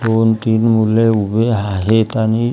दोन-तीन मुले उभी आहेत आणि--